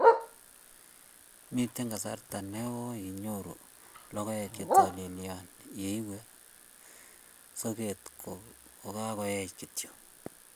mito kasarta neoo inyoru logoek che talilen ya iwe soket ko kakuech kityo